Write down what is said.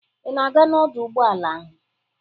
Ị na-aga n'ọdọ ụgbọala ahụ?